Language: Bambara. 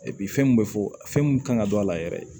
fɛn mun bɛ fɔ fɛn mun kan ka don a la yɛrɛ